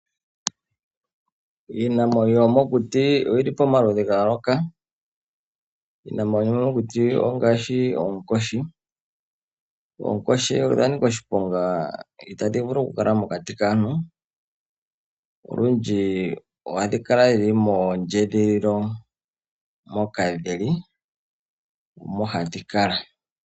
Iinamwenyo yomokuti oyili pamaludhi ga yooloka. Iinamwenyo yomokuti ongaashi oonkoshi. Oonkoshi odha nika oshiponga itadhi vulu okukala mokati kaantu. Olundji ohadhi kala dhili mondjedhililo moka dhili omo hadhi kala.